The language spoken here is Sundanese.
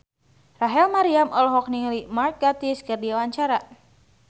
Rachel Maryam olohok ningali Mark Gatiss keur diwawancara